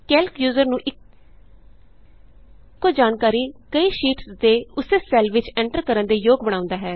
Calc user ਨੂੰ ਇਕੋ ਜਾਣਕਾਰੀ ਕਈ ਸ਼ੀਟਸ ਦੇ ਉਸੇ ਸੈੱਲ ਵਿਚ ਐਂਟਰ ਕਰਨ ਯੋਗ ਬਣਾਉਂਦਾ ਹੈ